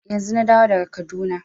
Yanzun na dawo daga Kaduna.